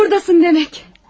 Buradasın demək.